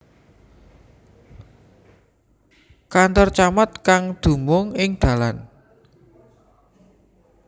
Kantor Camat kang dumung ing Dalan